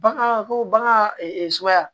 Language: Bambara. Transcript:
Bagan ko bagan suguya